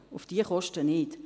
auf diese Kosten nicht.